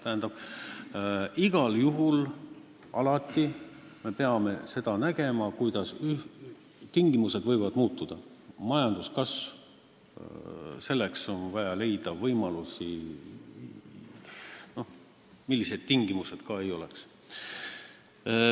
Tähendab, igal juhul me peame alati, hoolimata sellest, et tingimused võivad muutuda, leidma majanduskasvuks võimalusi, millised tingimused ka ei oleks.